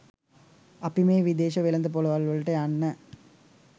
අපි මේ විදේශ වෙළෙඳ ‍පොළවල්වලට යන්න